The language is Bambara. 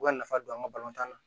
U ka nafa don an ka balontan na